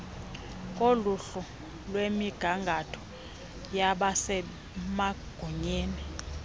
koluhlu lwemigangatho yabasemagunyeni